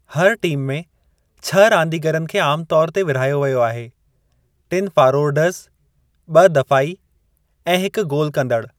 हर टीम में छह रांदीगरनि खे आमु तौर ते विर्हायो वियो आहे टिनि फ़ारोरडज़, ॿ दफ़ाई, ऐं हिक गोलु कंदड़ु।